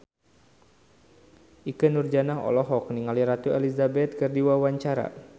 Ikke Nurjanah olohok ningali Ratu Elizabeth keur diwawancara